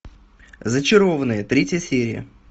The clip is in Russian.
зачарованные третья серия